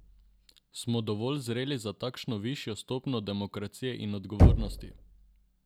Smo dovolj zreli za takšno višjo stopnjo demokracije in odgovornosti?